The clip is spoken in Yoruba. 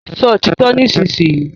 Sọ òtítọ́ nísinsìnyí!